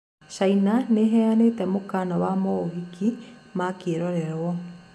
China nĩeheanite mũkana wa mauhiki ma kĩrorerwa.